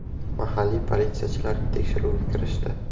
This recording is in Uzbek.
Mahalliy politsiyachilar tekshiruvga kirishdi.